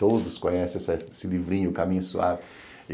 Todos conhecem esse livrinho, Caminho Suave.